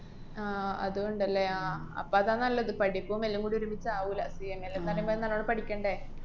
ആഹ് അതൂണ്ടല്ലേ ആഹ് അപ്പ അതാ നല്ലത്. പഠിപ്പും എല്ലോംകൂടി ഒരുമിച്ച് ആവൂല്ല. CMA ന്നാല് മേല് നല്ലോണം പഠിക്കണ്ടെ?